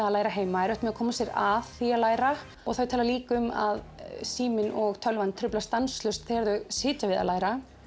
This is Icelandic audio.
að læra heima erfitt með að koma sér að því að læra og þau tala líka um að síminn og tölvan truflar stanslaust þegar þau sitja við að læra